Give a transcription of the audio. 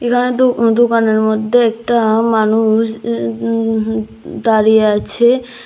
আর দো দোকানের মদ্যে একটা মানুষ উন উন হ দাঁড়িয়ে আছে।